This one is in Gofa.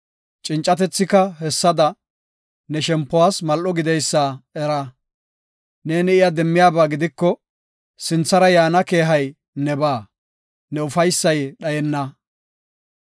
Cincatethika hessada ne shempuwas mal7o gideysa era. Neeni iya demmiyaba gidiko, sinthara yaana keehay nebaa; ne ufaysay dhayenna.